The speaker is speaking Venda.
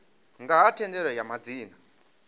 nga ha thendelano ya madzina